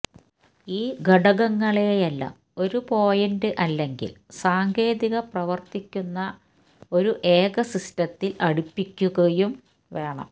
ഈ ഘടകങ്ങളെല്ലാം ഒരു പോയിന്റ് അല്ലെങ്കിൽ സാങ്കേതിക പ്രവർത്തിക്കുന്ന ഒരു ഏക സിസ്റ്റത്തിൽ അടുപ്പിക്കും വേണം